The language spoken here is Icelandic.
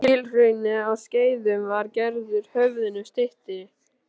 Kílhrauni á Skeiðum var gerður höfðinu styttri.